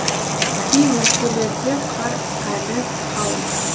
кей өлкелерде қар әлі қалың